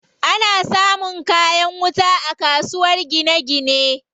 Ana samun kayan wuta a kasuwar gine gine.